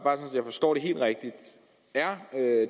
er